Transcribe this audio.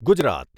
Gujarat